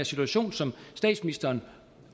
situation som statsministeren